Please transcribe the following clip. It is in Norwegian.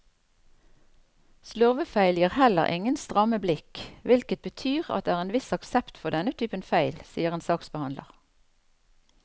Slurvefeil gir heller ingen stramme blikk, hvilket betyr at det er en viss aksept for denne typen feil, sier en saksbehandler.